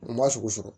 N ma sogo sɔrɔ